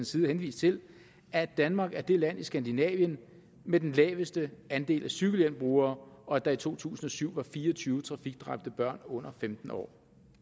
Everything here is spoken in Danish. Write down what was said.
side henvist til at danmark er det land i skandinavien med den laveste andel af cykelhjelmsbrugere og at der i to tusind og syv var fire og tyve trafikdræbte børn under femten år